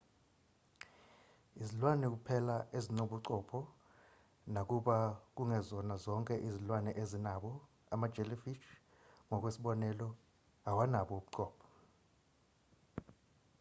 izilwane kuphela ezinobuchopho nakuba kungezona zonke izilwane ezinabo; ama-jellyfish ngokwesibonelo awanabo ubuchopho